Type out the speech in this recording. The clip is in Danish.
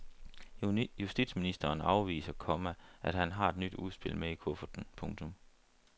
Justitsministeren afviser, komma at han har et nyt udspil med i kufferten. punktum